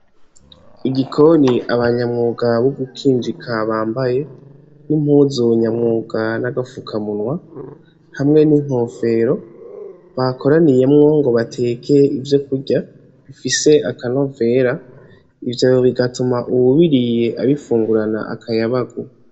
Mugikoni abanyamwuga bugukinjiga bambaye, impuzu nyamwuga nagafukaminwa, hamwe n'inkofero, bakoraniyemwo ngo bateke ivyokurya, bifise akanovera ivyo bigatuma uwubiriye abifungurana akayabagu.